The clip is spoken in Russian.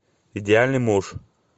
идеальный муж